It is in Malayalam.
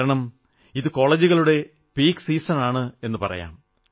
കാരണം ഇത് കോളജുകളുടെ പീക് സീസൺ എന്നു പറയാം